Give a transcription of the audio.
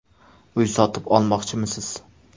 Uy sotib olmoqchimisiz?